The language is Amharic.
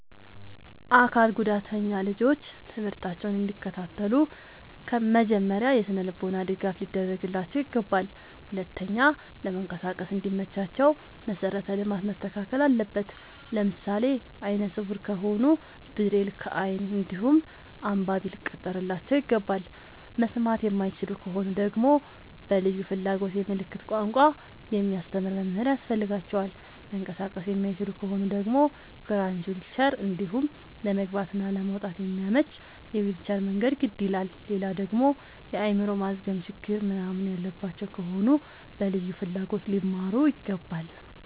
አካል ጉዳተኛ ልጆች ትምህርታቸውን እንዲ ከታተሉ መጀመሪያ የስነልቦና ድገፍ ሊደረግላቸው ይገባል። ሁለተኛ ለመንቀሳቀስ እንዲ መቻቸው መሰረተ ልማት መስተካከል አለበት። ለምሳሌ አይነስውራ ከሆኑ ብሬል ከይን እንዲሁም አንባቢ ሊቀጠርላቸው ይገባል። መስማት የማይችሉ ከሆኑ ደግመሞ በልዩ ፍላጎት የምልክት ቋንቋ የሚያስተምር መምህር ያስፈልጋቸዋል። መንቀሳቀስ የማይችሉ ከሆኑ ደግሞ ክራች ዊልቸር እንዲሁም ለመግባት እና ለመውጣት የሚያመች የዊልቸር መንገድ ግድ ይላላል። ሌላደግሞ የአይምሮ ማዝገም ችግር ምንናምን ያለባቸው ከሆኑ በልዩ ፍላጎት ሊማሩ ይገባል።